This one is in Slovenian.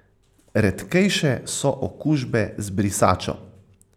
Redkejše so okužbe z brisačo.